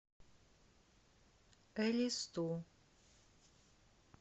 элисту